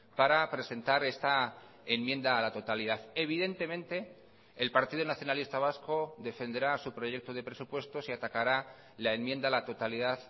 para presentar esta enmienda a la totalidad evidentemente el partido nacionalista vasco defenderá su proyecto de presupuestos y atacará la enmienda a la totalidad